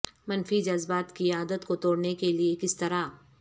منفی جذبات کی عادت کو توڑنے کے لئے کس طرح